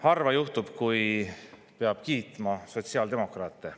Harva juhtub, et peab kiitma sotsiaaldemokraate.